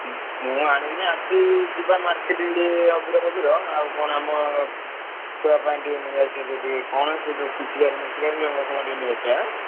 ଉଁ ମୁଁ ଆଣିନି ଆଜି ଯିବା marketing ଟିକେ ଅବିର ଫବୀର ଆଉ କଣ ଆମ ଛୁଆ ପାଇଁ ଟିକେ ନେଇଆସିଆ ସେ ଯୋଉ ଟିକେ କଣ ସେ ଯୋଉ ପିଚକାଳି ମିଚକାଳି ରଙ୍ଗ ଫଙ୍ଗ ଟିକେ ନେଇଆସିଆ ଏଁ।